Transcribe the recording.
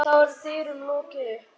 Þá er dyrum lokið upp.